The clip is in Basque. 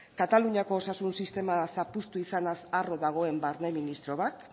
kataluniako osasun sistema zapuztu izanaz harro dagoen barne ministro bat